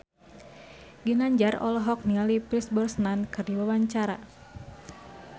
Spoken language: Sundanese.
Ginanjar olohok ningali Pierce Brosnan keur diwawancara